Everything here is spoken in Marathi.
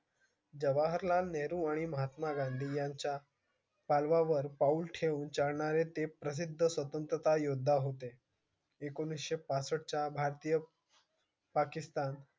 जवाहरलाल नेहरू आणि महात्मा गांधी यांच्या पावलावर पाउल ठेवून जाणारे ते प्रसिद्ध योद्धा होते एकोनेशे पासष्ट च्या भारतीय पाकिस्तान